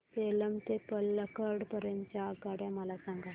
सेलम ते पल्लकड पर्यंत च्या आगगाड्या मला सांगा